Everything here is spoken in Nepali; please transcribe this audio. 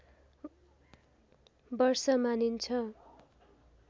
वर्ष मानिन्छ